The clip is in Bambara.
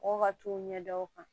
Mɔgɔw ka t'u ɲɛ da u kan